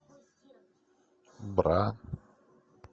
бра